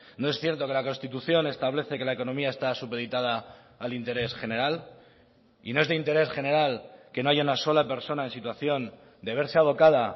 no es cierto que la constitución establece que la economía está supeditada al interés general y no es de interés general que no haya una sola persona en situación de verse abocada